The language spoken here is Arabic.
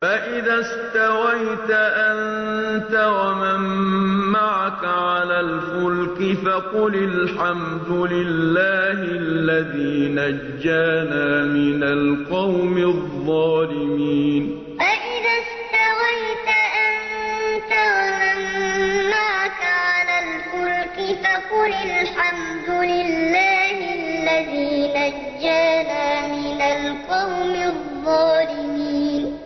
فَإِذَا اسْتَوَيْتَ أَنتَ وَمَن مَّعَكَ عَلَى الْفُلْكِ فَقُلِ الْحَمْدُ لِلَّهِ الَّذِي نَجَّانَا مِنَ الْقَوْمِ الظَّالِمِينَ فَإِذَا اسْتَوَيْتَ أَنتَ وَمَن مَّعَكَ عَلَى الْفُلْكِ فَقُلِ الْحَمْدُ لِلَّهِ الَّذِي نَجَّانَا مِنَ الْقَوْمِ الظَّالِمِينَ